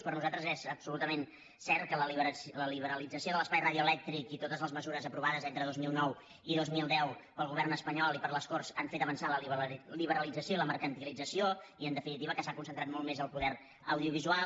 per nosaltres és absolutament cert que la liberalització de l’espai radioelèctric i totes les mesures aprovades entre dos mil nou i dos mil deu pel govern espanyol i per les corts han fet avançar la liberalització i la mercantilització i en definitiva que s’ha concentrat molt més el poder audiovisual